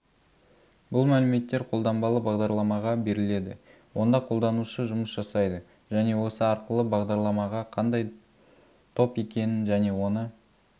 бұл мәліметтер қолданбалы бағдарламаға беріледі онда қолданушы жұмыс жасайды және осы арқылы бағдарламаға қандай топ екенін және оны